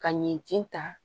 Ka ɲɛji ta